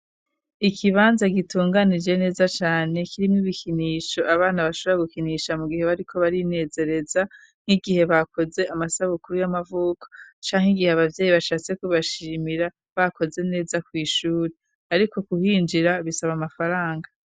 Ikibanza gitunganije neza cane kirimwo ibikinisho abana bashora gukinisha mu gihe bariko barinezereza nk'igihe bakoze amasabukuru y'amavuko canke igihe abavyeyi bashatse kubashimira bakoze neza kw'ishuri, ariko guhinjira bisaba amafaranga.